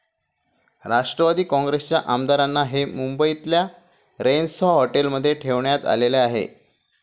राष्ट्रवादी काँग्रेसच्या आमदारांना हे मुंबईतल्या रेनेसाँ हॉटेलमध्ये ठेवण्यात आले आहे.